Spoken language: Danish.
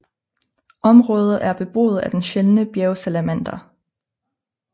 Området er beboet af den sjældne bjergsalamander